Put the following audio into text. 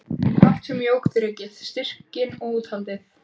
Allt sem jók þrekið, styrkinn og úthaldið.